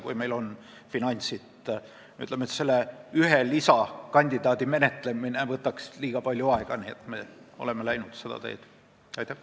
Ütleme nii, et selle ühe lisakandidaadi menetlemine võtaks liiga palju aega ja sellepärast me oleme seda teed läinud.